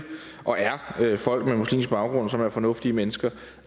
folk med muslimsk baggrund som er fornuftige mennesker